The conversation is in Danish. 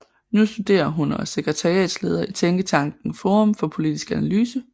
Nu studerer hun og er sekretariatsleder i tænketanken Forum for Politisk Analyse